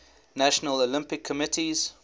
national olympic committees